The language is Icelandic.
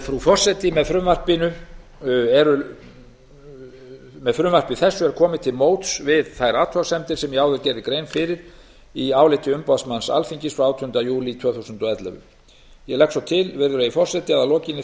frú forseti með frumvarpinuþessu er komið til móts við þær athugasemdir sem ég áður gerði grein fyrir í áliti umboðsmanns alþingis frá átjándu júlí tvö þúsund og ellefu ég legg svo til virðulegi forseti að að lokinni